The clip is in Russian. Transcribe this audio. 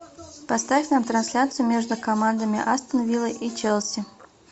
поставь нам трансляцию между командами астон вилла и челси